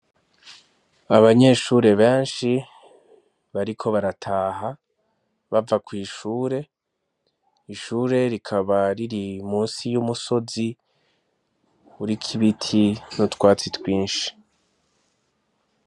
Abanyeshure benshi bariko barataha bava kw'ishure ishure rikaba riri musi y'umusozi urikibiti n'utwatsi twinshi.